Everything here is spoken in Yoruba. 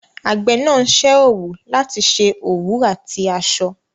Àgbẹ̀ ń ṣe òwú láti ṣe òwú àti aṣọ.